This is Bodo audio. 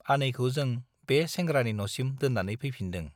आनैखौ जों बे सेंग्रानि न'सिम दोन्नानै फैफिनदों।